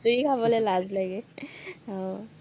খিচিৰি খাবলে লাজ লাগে।